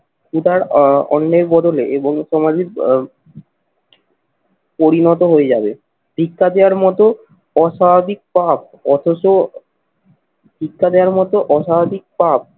এটার আহ অন্নের বদলে এবং সমাজিক আহ পরিণত হয়ে যাবে। শিক্ষা দেওয়ার মতো অস্বাভাবিক পাপ অথচ শিক্ষা দেওয়ার মতো অসামাজিক পাপ